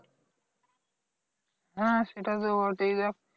হ্যাঁ সেটা তো হতেই হবে